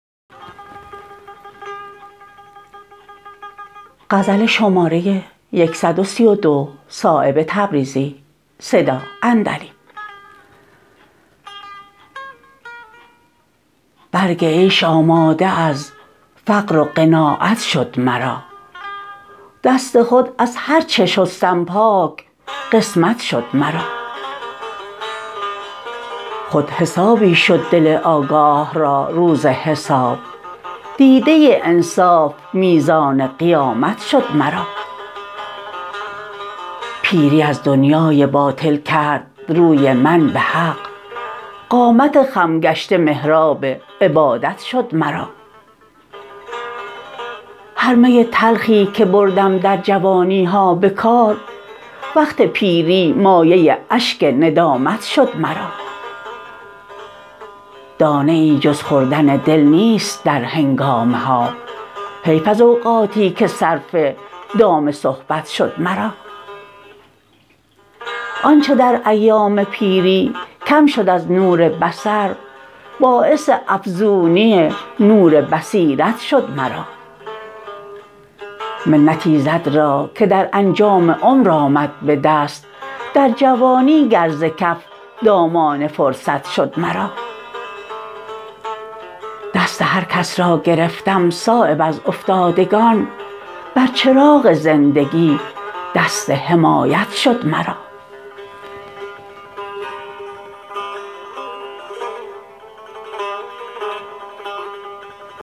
برگ عیش آماده از فقر و قناعت شد مرا دست خود از هر چه شستم پاک قسمت شد مرا خود حسابی شد دل آگاه را روز حساب دیده انصاف میزان قیامت شد مرا پیری از دنیای باطل کرد روی من به حق قامت خم گشته محراب عبادت شد مرا هر می تلخی که بردم در جوانی ها به کار وقت پیری مایه اشک ندامت شد مرا دانه ای جز خوردن دل نیست در هنگامه ها حیف از اوقاتی که صرف دام صحبت شد مرا آنچه در ایام پیری کم شد از نور بصر باعث افزونی نور بصیرت شد مرا منت ایزد را که در انجام عمر آمد به دست در جوانی گر ز کف دامان فرصت شد مرا دست هر کس را گرفتم صایب از افتادگان بر چراغ زندگی دست حمایت شد مرا